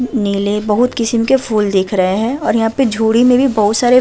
नीले बहौत किस्म के फूल दिख रहे हैं और यहाँ पे झोड़ी में भी बहौत सारे --